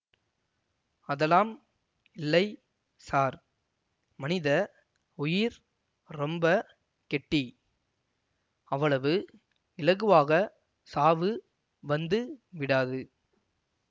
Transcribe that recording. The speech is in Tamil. அதெல்லாம் இல்லை ஸார் மனித உயிர் ரொம்ப கெட்டி அவ்வளவு இலகுவாகச் சாவு வந்து விடாது